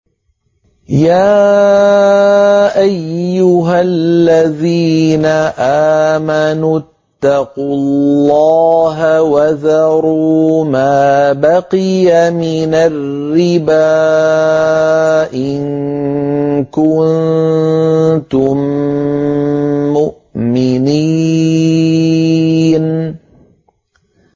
يَا أَيُّهَا الَّذِينَ آمَنُوا اتَّقُوا اللَّهَ وَذَرُوا مَا بَقِيَ مِنَ الرِّبَا إِن كُنتُم مُّؤْمِنِينَ